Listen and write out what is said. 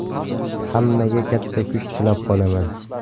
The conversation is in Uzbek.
Hammaga katta kuch tilab qolaman.